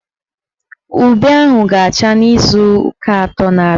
Ube ahụ ga-acha n'izuụka atọ na-abịa.